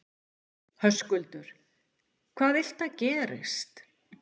Höskuldur: Hvað viltu að gerist?